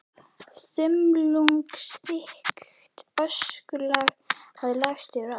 Þumlungsþykkt öskulag hafði lagst yfir allt.